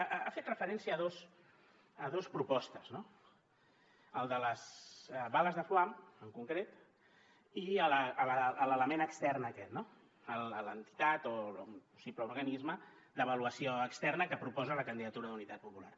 ha fet referència a dos propostes no el de les bales de foam en concret i a l’element extern aquest no a l’entitat o simple organisme d’avaluació externa que proposa la candidatura d’unitat popular